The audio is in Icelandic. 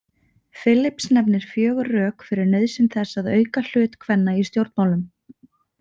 Phillips nefnir fjögur rök fyrir nauðsyn þess að auka hlut kvenna í stjórnmálum.